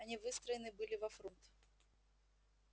они выстроены были во фрунт